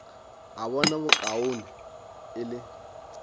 a bona bokaone e le